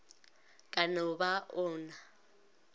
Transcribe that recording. ka no ba o na